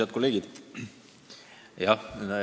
Head kolleegid!